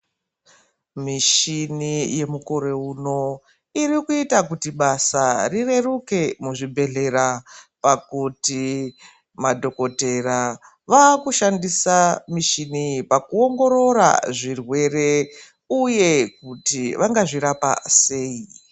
Mishini yemukore uno irikuita kuti basa rireruke muzvibhedhlera. Pakuti madhokotera vakushandisa mushini iyi pakuongorora zvirwere, uye kuti vangazvirapa sei.